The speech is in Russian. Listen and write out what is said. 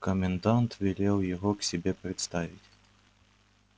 комендант велел его к себе представить